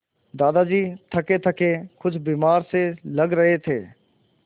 दादाजी थकेथके कुछ बीमार से लग रहे थे